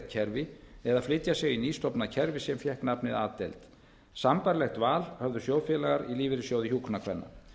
kerfi eða flytja sig í nýstofnað kerfi sem fékk nafnið a deild sambærilegt val höfðu sjóðfélagar í lífeyrissjóði hjúkrunarkvenna